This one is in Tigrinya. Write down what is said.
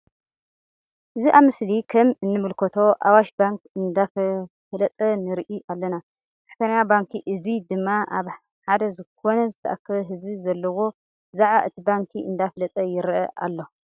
እዚ ኣብ ምስሊ ከም እንምልከቶ ኣዋሽ ባንክ እንዳፋለጠ ንርኢ ኣለና። እዚ ሰራሕተኛ ባንኪ እዚ ድማ ኣብ ሓደ ዝኮና ዝተኣከበ ህዝቢ ዘለዎ ብዛዕባ እቲ ባንኪ እንዳፋለጠ ይረአ ኣሎ።